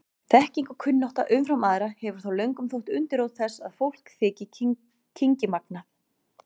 Þekking og kunnátta umfram aðra hefur þó löngum þótt undirrót þess að fólk þyki kynngimagnað.